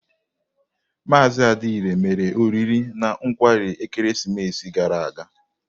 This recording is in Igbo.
Maazị Adiele mere oriri na nkwarị ekeresimesi gara aga.